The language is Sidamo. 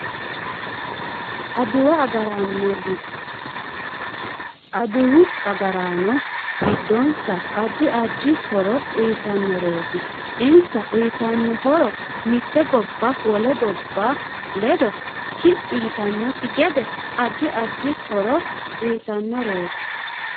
Adduwu agaraano gidoonsa addi addi horo uyiitanoreeti insa uyiitanno horo mite gobba wole. gobba ledo kiphi yitanokki gede addi addi horo uyiitanoreeti